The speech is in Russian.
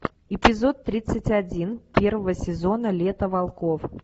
эпизод тридцать один первого сезона лето волков